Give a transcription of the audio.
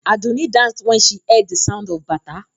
Àdùnní danced when she heard the sound of Bata.